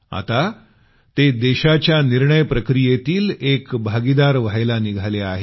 आता ते देशाच्या निर्णय प्रक्रियेतील एक भागीदार बनण्यास निघाले आहेत